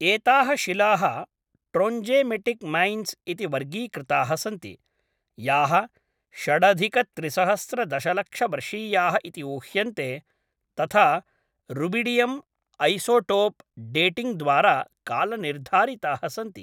एताः शिलाः ट्रोञ्जेमेटिक् मैन्स् इति वर्गीकृताः सन्ति, याः षडधिकत्रिसहस्रदशलक्षवर्षीयाः इति ऊह्यन्ते तथा रुबिडियम् ऐसोटोप् डेटिङ्ग् द्वारा कालनिर्धारिताः सन्ति।